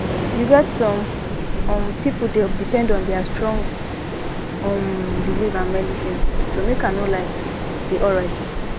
you get some um people dey depend on their strong um belief and medicine to make i no lie dey alright truetrue